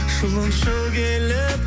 жылыншы келіп